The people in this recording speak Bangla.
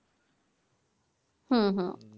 হুম হুম